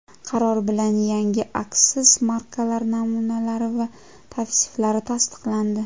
Qaror bilan yangi aksiz markalari namunalari va tavsiflari tasdiqlandi.